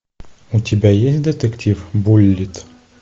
у тебя есть детектив буллитт